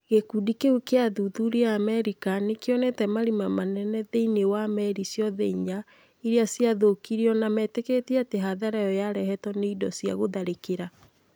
Gĩkundi kĩu kĩa athuthuria a Amerika nĩ kĩonete marima manene thĩinĩ wa meri ciothe inya iria ciathũũkirio na metĩkĩtie atĩ hathara ĩyo yarehetwo nĩ indo cia gũtharĩkĩra,